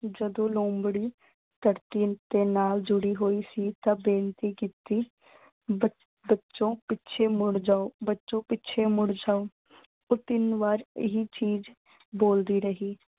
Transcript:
ਜਦੋਂ ਲੂੰਬੜੀ ਧਰਤੀ ਉਤੇ ਨਾਲ ਜੁੜੀ ਹੋਈ ਸੀ ਤਾਂ ਬੇਨਤੀ ਕੀਤੀ, ਬੱਚਿਓ ਪਿੱਛੇ ਮੁੜ ਜਾਓ, ਬੱਚਿਓ ਪਿੱਛੇ ਮੁੜ ਜਾਓ। ਦੋ-ਤਿੰਨ ਵਾਰ ਇਹ ਚੀਜ਼ ਬੋਲਦੀ ਰਹੀ।